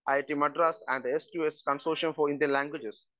speaker 1 IIT Madras and the S two S consortium for Indian languages